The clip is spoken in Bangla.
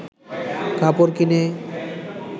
কাপড় কিনে